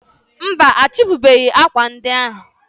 mba, achịpụbeghị akwa ndị ahụ.